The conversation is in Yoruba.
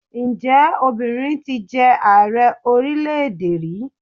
Ǹjẹ́ obìnrin ti jẹ Ààrẹ orílẹ̀-èdè rí?